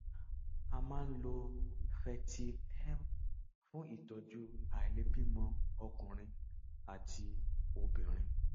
a máa ń lo fertyl m fún ìtọjú àìlèbímọ ọkùnrin àti obìnrin